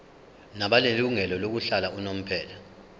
nabanelungelo lokuhlala unomphela